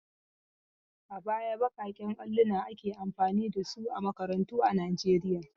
A baya baƙaƙen alluna ake amfani da su a makarantu a Najeriya.